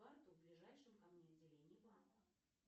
карту в ближайшем ко мне отделении банка